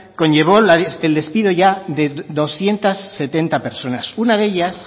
conllevó el despido ya de doscientos setenta personas